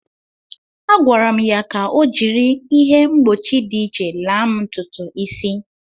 Akwara'm ya ka o jiri ihe mgbochi dị iche laa'm ntụtụ isi.